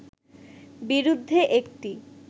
বিরুদ্ধে একটি